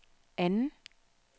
anden